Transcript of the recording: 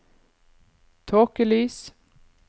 tåkelys